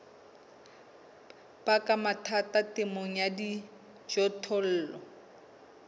baka mathata temong ya dijothollo